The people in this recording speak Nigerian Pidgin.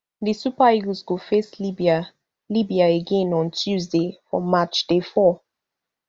di super eagles go face libya libya again on tuesday for match day four